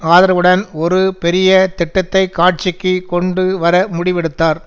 ஆதரவுடன் ஒரு பெரிய திட்டத்தை காட்சிக்கு கொண்டு வர முடிவெடுத்தார்